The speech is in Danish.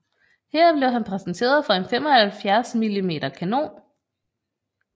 Her blev han præsenteret for en 75 mm kanon